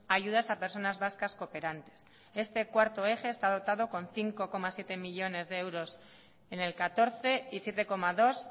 ayudas a personas vascas cooperantes este cuarto eje está dotado con cinco coma siete millónes de euros en el catorce y siete coma dos